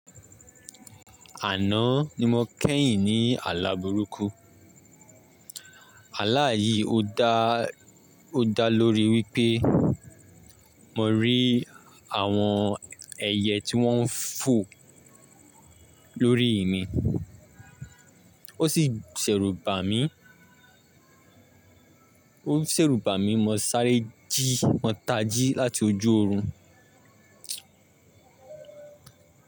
Àná ni mo kẹ́yìn ní àlá burúkú. Àlá yìí ó dá lóri wípé mo rí àwọn ẹyẹ tí wọ́n ń fò lórí mi. Ó sì ṣẹ̀rùbà mí, ó ṣèrùbà mí mo sáré jí, mo ta jí láti ojú oorun.